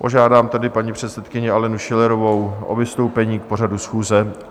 Požádám tedy paní předsedkyni Alenu Schillerovou o vystoupení k pořadu schůze.